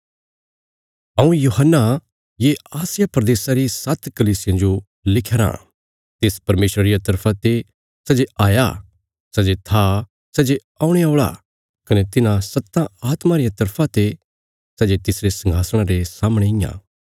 हऊँ यूहन्ना ये आसिया प्रदेशा री सात्त कलीसियां जो लिख्या राँ तिस परमेशरा रिया तरफा ते सै जे हाया सै जे था सै जे औणे औल़ा कने तिन्हां सत्तां आत्मां रिया तरफा ते सै जे तिसरे संघासणा रे सामणे इयां